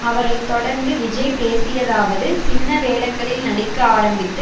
அவரை தொடர்ந்து விஜய் பேசியதாவது சின்ன வேடங்களில் நடிக்க ஆரம்பித்து